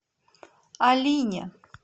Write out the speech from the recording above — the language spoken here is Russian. алине